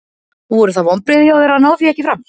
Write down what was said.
Voru það vonbrigði hjá þér að ná því ekki fram?